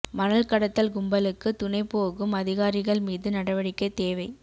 மணல் கடத்தல் கும்பலுக்கு துணை போகும் அதிகாரிகள் மீது நடவடிக்கை தேவை